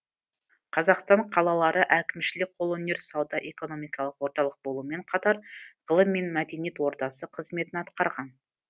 қазақстан қалалары әкімшілік қолөнер сауда экономикалық орталық болумен қатар ғылым мен мәдениет ордасы қызметін атқарған